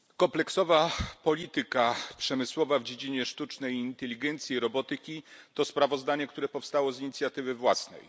Kompleksowa polityka przemysłowa w dziedzinie sztucznej inteligencji i robotyki, to sprawozdanie, które powstało z inicjatywy własnej.